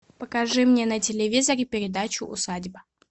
покажи мне на телевизоре передачу усадьба